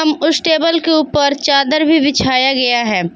उस टेबल के ऊपर चादर भी बिछाया गया है।